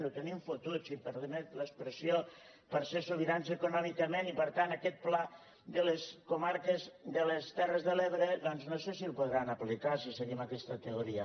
ho tenim fotut si em permet l’expressió per ser sobirans econòmicament i per tant aquest pla de les terres de l’ebre doncs no sé si el podran aplicar si seguim aquesta teoria